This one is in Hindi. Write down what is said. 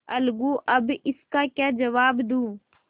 अलगूअब इसका क्या जवाब दूँ